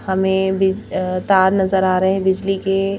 हमें बिज अ तार नजर आ रहे हैं बिजली के।